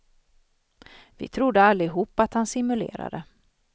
Vi trodde allihop att han simulerade.